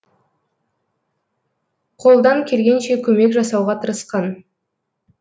қолдан келгенше көмек жасауға тырысқан